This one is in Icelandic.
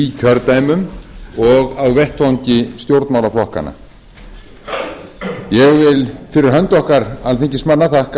í kjördæmum og á vettvangi stjórnmálaflokkanna ég vil fyrir hönd okkar alþingismanna þakka